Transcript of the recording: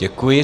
Děkuji.